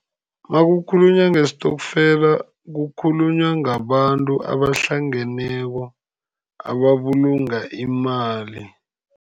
Nakukhulunywa ngestokfela kukhulunywa ngabantu abahlangeneko, ababulunga imali.